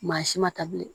Maa si ma ta bilen